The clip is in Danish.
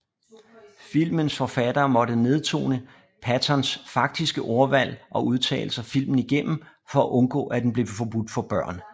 Filmens forfattere måtte nedtone Pattons faktiske ordvalg og udtalelser filmen igennem for at undgå at den blev forbudt for børn